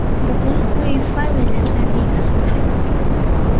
Bugun UEFA Millatlar Ligasi boshlanadi.